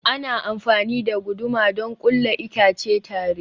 Ana amfani da guduma don ƙulla itace tare.